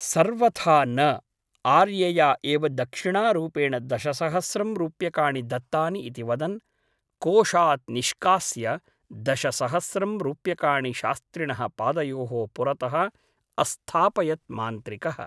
सर्वथा न । आर्यया एव दक्षिणारूपेण दशसहस्स्रं रूप्यकाणि दत्तानि इति वदन् कोषात् निष्कास्य दशसहस्त्रं रूप्यकाणि शास्त्रिणः पादयोः पुरतः अस्थापयत् मान्त्रिकः ।